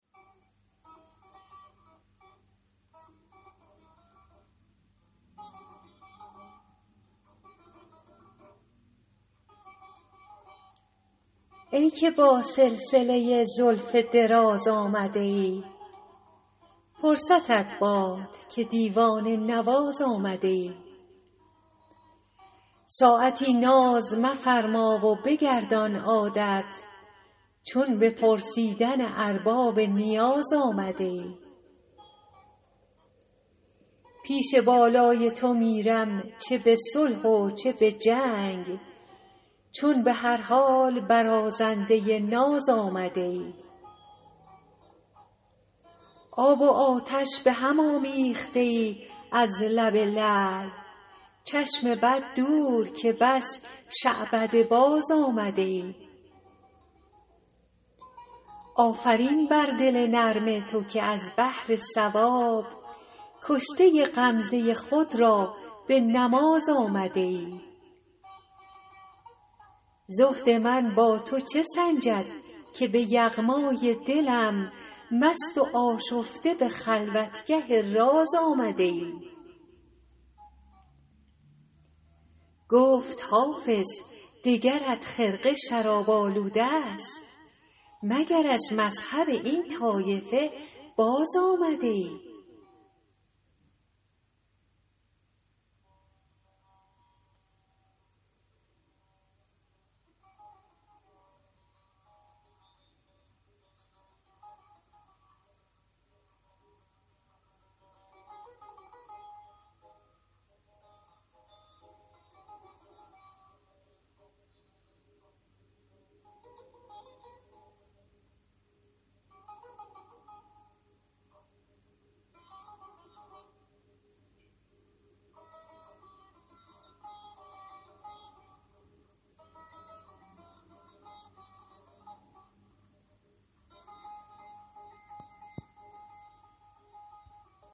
ای که با سلسله زلف دراز آمده ای فرصتت باد که دیوانه نواز آمده ای ساعتی ناز مفرما و بگردان عادت چون به پرسیدن ارباب نیاز آمده ای پیش بالای تو میرم چه به صلح و چه به جنگ چون به هر حال برازنده ناز آمده ای آب و آتش به هم آمیخته ای از لب لعل چشم بد دور که بس شعبده باز آمده ای آفرین بر دل نرم تو که از بهر ثواب کشته غمزه خود را به نماز آمده ای زهد من با تو چه سنجد که به یغمای دلم مست و آشفته به خلوتگه راز آمده ای گفت حافظ دگرت خرقه شراب آلوده ست مگر از مذهب این طایفه باز آمده ای